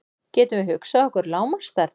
Getum við hugsað okkur lágmarksstærð?